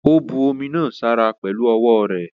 Ó bu omi náà sára pẹ̀lu ọwọ́ rẹ̀.